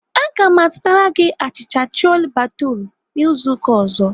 Aga m azụtara gị achịcha chole bhature izu ụka ọzọ.